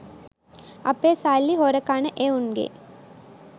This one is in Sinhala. අපේ සල්ලි හොර කන එවුන්ගෙත්